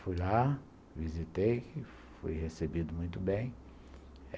Fui lá, visitei, fui recebido muito bem.